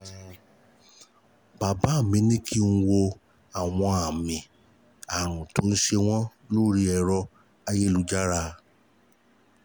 Bàbá mi ní kí n wo àwọn àmì àrùn tó ń ṣe wọ́n lórí ẹ̀rọ-ayélujára